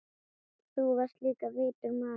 Þú varst líka vitur maður.